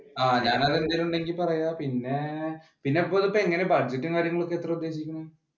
ആഹ് ഞാൻ അത് എന്തേലും ഉണ്ടെങ്കിൽ പറയാം പിന്നെ പിന്നെ ഇത് ഇപ്പോ എങ്ങനെ budject കാര്യങ്ങളും ഒക്കെ എത്രയാണ് ഉദ്ദേശിക്കുന്നെ?